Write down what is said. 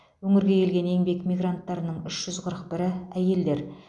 өңірге келген еңбек мигранттарының үш жүз қырық бірі әйелдер